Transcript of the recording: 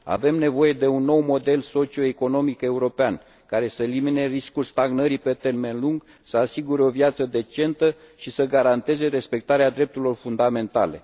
Avem nevoie de un nou model socioeconomic european, care să elimine riscul stagnării pe termen lung, să asigure o viață decentă și să garanteze respectarea drepturilor fundamentale.